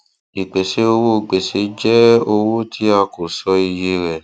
ìpèsè owó gbèsè jẹ owó tí a kò sọ iye rẹ